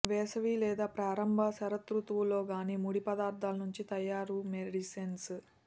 వేసవి లేదా ప్రారంభ శరదృతువు లో గానీ ముడి పదార్థాల నుంచి తయారు మెడిసిన్స్